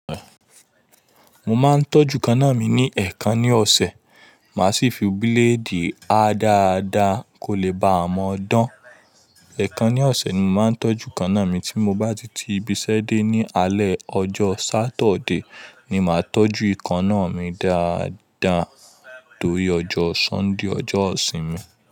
Mo máa ń tọ́jú èékánná mi ní ẹ̀ẹ̀kan ní ọ̀sẹ̀, màá sì fi bíladé há dáadáa kó lè ba má dán. Ẹ̀ẹ̀kan ní ọ̀sẹ̀ ni mo màá ń tọ́jú èékánná mi, tí mo bá ti ti ibiṣẹ́ dé ní alẹ́ ọjọ́ Saturday, ni màá tọ́jú èékánná mi dáadáa tórí ọjọ́ Sunday ọjọ́ ìsinmi.